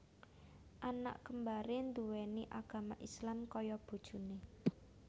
Anak kembaré nduwéni agama Islam kaya bojoné